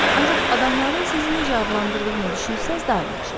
Ancaq adamların sizi necə adlandırdığını düşünsəz daha yaxşı olar.